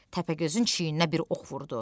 Təpəgözün çiyninə bir ox vurdu.